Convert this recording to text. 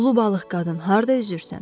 Ulu balıq qadın harda üzürsən?